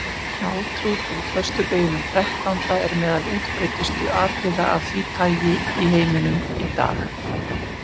Hjátrú tengd föstudeginum þrettánda er meðal útbreiddustu atriða af því tagi í heiminum í dag.